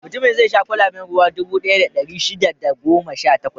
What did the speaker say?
Mutumin zai sha kwalaben ruwa dubu ɗaya da ɗari shida da goma sha takwas.